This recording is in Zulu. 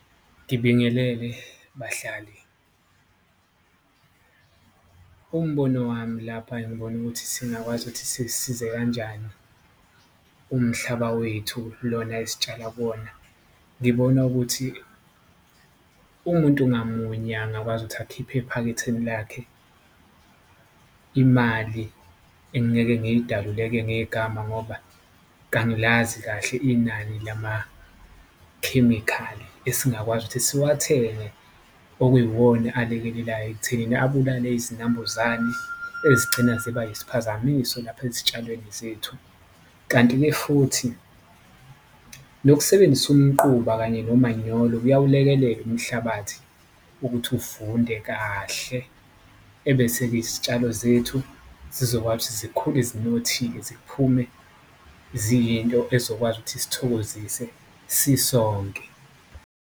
Ngibingelele bahlali. Umbono wami lapha engibona ukuthi singakwazi ukuthi sisize kanjani umhlaba wethu lona esitshala kuwona, ngibona ukuthi umuntu ngamunye angakwazi ukuthi akhiphe ephaketheni lakhe imali engingeke ngiyidalule-ke ngegama. Ngoba kangilazi kahle inani lamakhemikhali esingakwazi ukuthi siwathenge okuyiwona alekelelayo ekuthenini abulale izinambuzane ezigcina ziba yisiphazamiso lapha ezitshalweni zethu. Kanti-ke futhi nokusebenzisa umquba kanye nomanyolo kuyakulekelela umhlabathi ukuthi uvunde kahle, ebese-ke izitshalo zethu zizokwazi ukuthi zikhule zinothile, ziphume ziyinto ezokwazi ukuthi isithokozise sisonke.